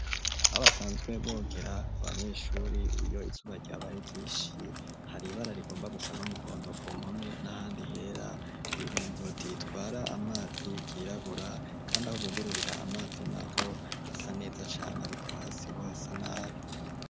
Aho basanzwe bogera abanyeshuri iyo izuba ryabaye ryishi hari ibara rigomba gusa n'umuhondo ku mpome n'ahandi hera imiringoti itwara amazi yirabura kandi aho bugururira amazi naho hasa neza cane ariko hasi ho hasa nabi.